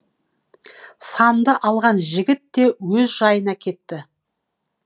санды алған жігіт те өз жайына кетті